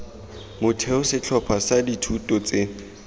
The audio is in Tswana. motheo setlhopha sa dithuto tse